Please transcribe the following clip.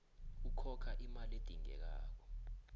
ukhokha imali edingekako